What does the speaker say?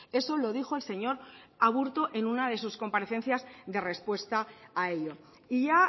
eso lo dijo el señor aburto en una de sus comparecencias de respuesta a ello y ya